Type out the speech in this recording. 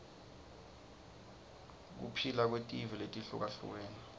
kuphila kwetive letihlukahlukene